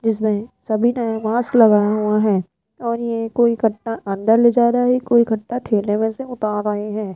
जिसमें सभी ने मास्क लगाया हुआ है और ये कोई कट्टा अंदर ले जा रहा है कोई कट्टा ठेले में से उतार रहे हैं।